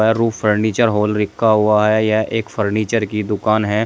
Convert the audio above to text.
रूप फर्नीचर माल रखा हुआ है या एक फर्नीचर की दुकान है।